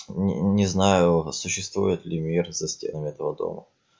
не не знаю существует ли мир за стенами этого дома